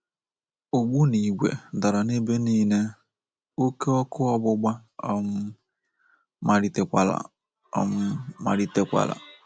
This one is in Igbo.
Ogbu n'ìgwè dara n’ebe nile, oké ọkụ ọgbụgba um malitekwara! um malitekwara!